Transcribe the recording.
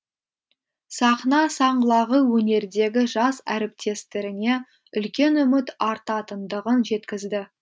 сахна саңлағы өнердегі жас әріптестеріне үлкен үміт артатындығын жеткізді